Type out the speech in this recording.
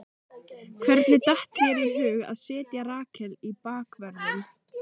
Hvernig datt þér í hug að setja Rakel í bakvörðinn?